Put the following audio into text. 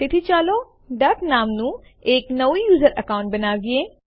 તેથી ચાલો ડક નામનું એક નવું યુઝર અકઉન્ટ બનાવીએ